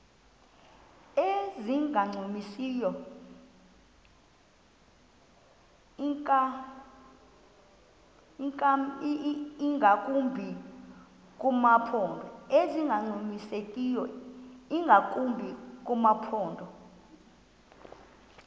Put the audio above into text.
ezingancumisiyo ingakumbi kumaphondo